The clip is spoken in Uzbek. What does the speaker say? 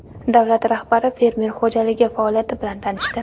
Davlat rahbari fermer xo‘jaligi faoliyati bilan tanishdi.